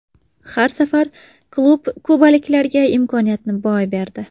Har safar klub kubaliklarga imkoniyatni boy berdi.